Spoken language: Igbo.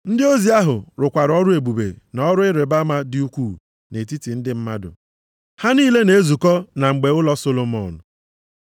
Ndị ozi ahụ rụkwara ọrụ ebube na ọrụ ịrịbama dị ukwuu nʼetiti ndị mmadụ. Ha niile na-ezukọ na mgbe ụlọ Solomọn.